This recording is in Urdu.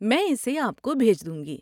میں اسے آپ کو بھیج دوں گی۔